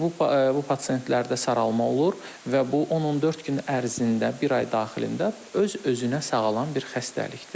Bu pasientlərdə saralma olur və bu 10-14 gün ərzində, bir ay daxilində öz-özünə sağalan bir xəstəlikdir.